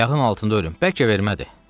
Ayağın altında ölüm, bəlkə vermədi.